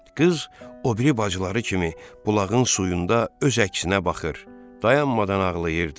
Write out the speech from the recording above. Qız o biri bacıları kimi bulağın suyunda öz əksinə baxır, dayanmadan ağlayırdı.